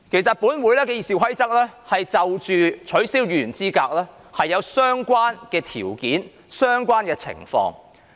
第二，《議事規則》已就取消議員資格作出相關的規定。